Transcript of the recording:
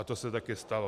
A to se taky stalo.